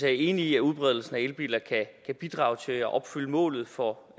jeg enig i at udbredelsen af elbiler kan bidrage til at opfylde målet for